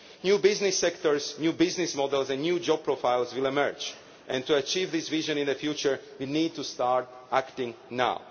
New business sectors, new business models and new job profiles will emerge, and to achieve this vision in the future we need to start acting now.